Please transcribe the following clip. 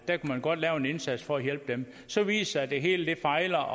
der kunne man godt gøre en indsats for at hjælpe dem så viser at det hele fejler